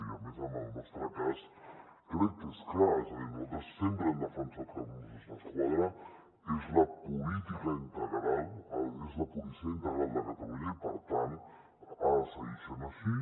i a més en el nostre cas crec que és clar és a dir nosaltres sempre hem defensat que els mossos d’esquadra és la policia integral de catalunya i per tant ha de seguir sent així